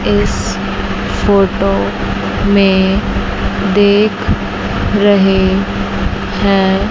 इस फोटो में देख रहे हैं।